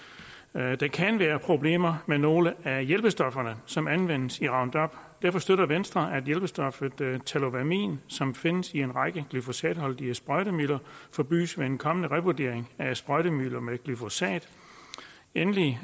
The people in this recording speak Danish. at der kan være problemer med nogle af hjælpestofferne som anvendes i roundup derfor støtter venstre at hjælpestoffet tallowamin som findes i en række glyfosatholdige sprøjtemidler forbydes ved en kommende revurdering af sprøjtemidler med glyfosat endelig